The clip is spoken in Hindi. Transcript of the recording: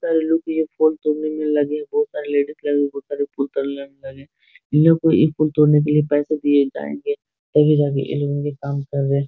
बहुत सारे लोग ये फूल तोड़ने में लगे बहुत सारा लेडीज लगी हुई बहुत सारे फूल तोड़ने के लिए इन लोगों को एक फूल तोड़ने के लिए पैसे दिए जाएँगे तभी जा के ये लोग काम कर रहे।